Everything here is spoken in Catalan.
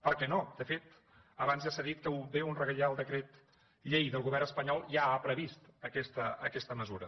per què no de fet abans ja s’ha dit que un reial decret llei del govern espanyol ja ha previst aquesta mesura